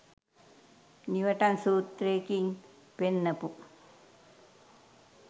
Newton සූත්‍රයකින් පෙන්නපු